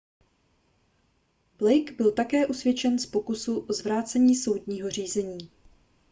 blake byl také usvědčen z pokusu o zvrácení soudního řízení